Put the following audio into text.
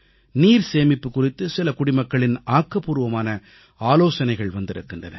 நீர்சேமிப்பு குறித்து சில குடிமக்களின் ஆக்கப்பூர்வமான ஆலோசனைகள் வந்திருக்கின்றன